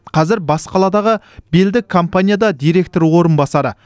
қазір бас қаладағы белді компанияда директор орынбасары